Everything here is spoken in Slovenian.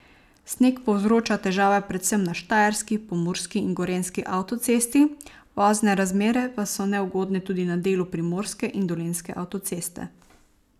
Sneg povzroča težave predvsem na štajerski, pomurski in gorenjski avtocesti, vozne razmere pa so neugodne tudi na delu primorske in dolenjske avtoceste.